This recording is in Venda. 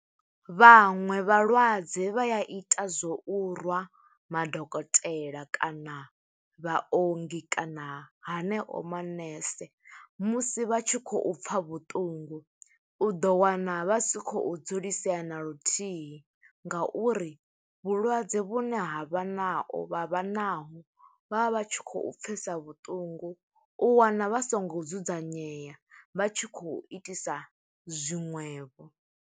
Vhaṅwe vhalwadze vha ya ita zwo u rwa madokotela, kana vhaongi, kana haneo manese, musi vha tshi khou pfa vhuṱungu. U ḓo wana vha si khou dzulisea na luthihi, nga uri vhulwadze vhune ha vha nao, vha vha nao, vha vha vha tshi khou pfesa vhuṱungu. U wana vha songo dzudzanyeya, vha tshi khou itisa zwiṅwevho.